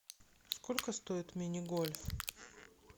сколько стоит мини гольф